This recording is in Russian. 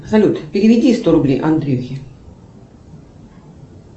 салют переведи сто рублей андрюхе